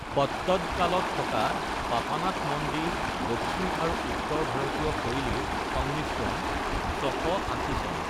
পট্টদকালত থকা পাপানাথ মন্দিৰ-দক্ষিণ আৰু উত্তৰ ভাৰতীয় শৈলীৰ সংমিশ্ৰণ, ৬৮০ চন